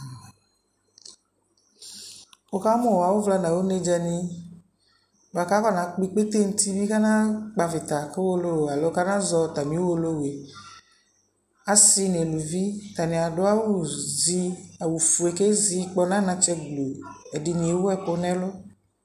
wuka mu ɔɔ awu vla ni na wu nɛdza ni Buaku afɔ na kpɔ ikpete nuti bi kana kpavita ku Uwolowu kana zɔ ata mi UwolowueAsi nɛ luvi atani adu wu zuiAwu fue kɛ zi kpɔ na natsɛ gbluuƐdini ɛwu ɛku nɛ lu